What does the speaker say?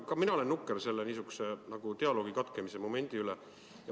Ka mina olen nukker selle dialoogi katkemise pärast.